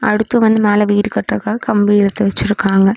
அடுத்து வந்து மேல வீடு கட்றக்காக கம்பி எடுத்து வெச்சுருக்காங்க.